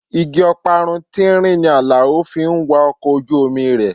Igi ọparun tínrín ni Alao fi ń wa ọkọ̀ ojú omi rẹ̀.